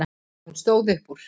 Hún stóð upp úr.